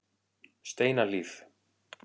Steinahlíð